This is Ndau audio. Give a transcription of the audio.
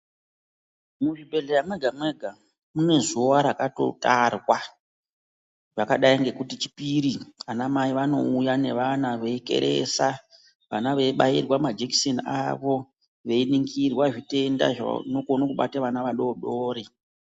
Muzvibhedhlera mwega mwrga mune zuwa rakatotarwa, rakadai ngekuti chipiri ana mai vanouya veikeresa vana veibairwa majekiseni avo veiningirwa zvitenda zvinokona kubata vana vadoodori.